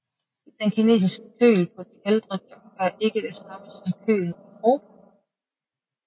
Den kinesiske køl på de ældre junker er ikke det samme som kølen i Europa